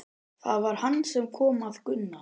Það var hann sem kom að Gunna.